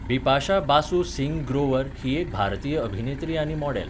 बिपाशा बासू सिंग ग्रोव्हर ही एक भारतीय अभिनेत्री आनी मॉडल.